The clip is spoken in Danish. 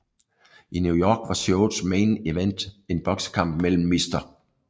I New York var showets main event en boksekamp mellem Mr